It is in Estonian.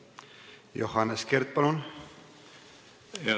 Johannes Kert, palun!